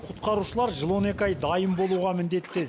құтқарушылар жыл он екі ай дайын болуға міндетті